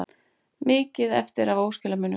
Mikið eftir af óskilamunum